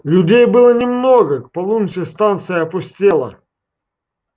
людей было немного к полуночи станция опустела